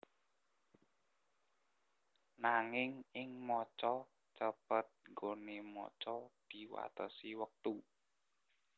Nanging ing maca cepet nggoné maca diwatesi wektu